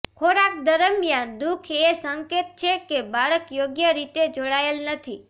ખોરાક દરમિયાન દુઃખ એ સંકેત છે કે બાળક યોગ્ય રીતે જોડાયેલ નથી